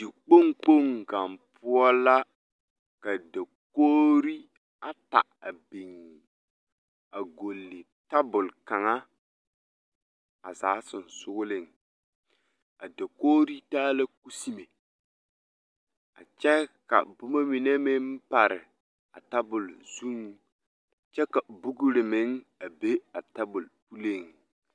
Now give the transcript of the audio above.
Dikpoŋkpoŋ kaŋ poɔ la ka daɡre ata biŋ a ɡɔle tabul kaŋa a zaa sonseesoɡa a dakoɡri taa la kuseme a kyɛ ka boma mine meŋ pare a tabul zuiŋ kyɛ ka buɡri meŋ a be a tabul puliŋ.